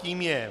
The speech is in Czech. Tím je